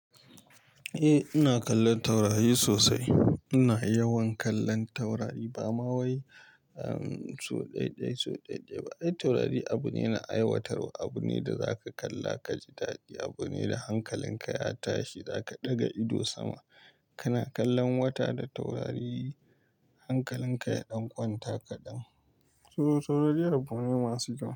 Eh ina kallon taurari sosai. Ina yawan kallon taurari ba ma wai sau ɗaya, sau ɗaya ba. Taurari abu ne na aiwatarwa, abu ne da zaka kalla ka ji dadi, abu ne da hankalinka ya tashi. Zaka ɗaga ido sama kana kallon wata da taurari, hankalinka ya ɗan kwanta kaɗan. Taurari abu ne masu kyau.